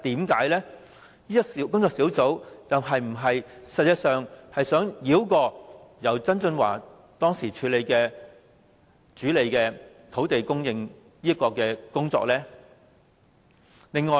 工作小組實際上是否想繞過由曾俊華當時主理土地供應的工作？